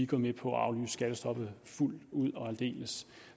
går med på at aflyse skattestoppet fuldt ud og aldeles